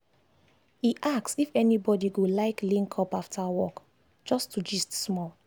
e ask if anybody go like link up after work just to gist small.